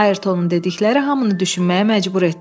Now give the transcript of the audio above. Ayrtonun dedikləri hamını düşünməyə məcbur etdi.